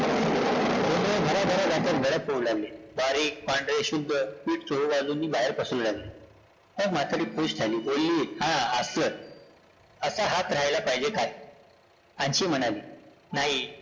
गरा-गरा जातं बारीक, पांढरे शुभ्र पिठं चहुबाजूंनी बाहेर पसरु लागले, मग म्हातारी खूष झाली, बोलली, हं, असं असा हात राहिला पाहिजे अन्शी म्हणाली, नाही